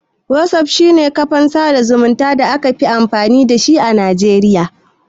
Whatsapp shi ne kafan sada zumunta da aka fi amfani da a najeriya.